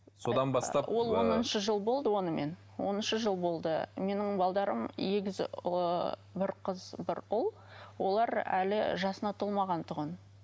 содан бастап ол оныншы жыл болды онымен оныншы жыл болды менің егіз ы бір қыз бір ұл олар әлі жасына толмаған тұғын